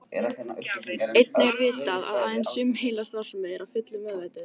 Einnig er vitað að aðeins sum heilastarfsemi er að fullu meðvituð.